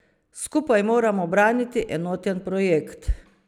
Skupaj moramo braniti enoten projekt.